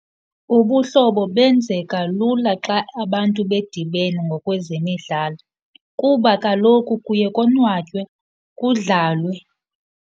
Ubuhlobo benzeka lula xa abantu bedibene ngokwezemidlalo kuba kaloku kuye konwatywe, kudlawe.